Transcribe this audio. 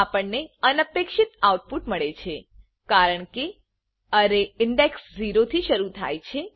આપણને અનપેક્ષિત આઉટપુટ મળે છે કારણકે અરે ઇન્ડેક્સ0 થી શરુ થાય છે